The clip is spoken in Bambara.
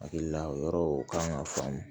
Hakilila yɔrɔ o kan k'a faamu